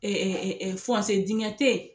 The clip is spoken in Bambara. dingɛ te yen